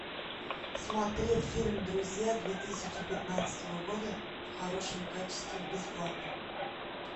смотреть фильм друзья две тысячи пятнадцатого года в хорошем качестве бесплатно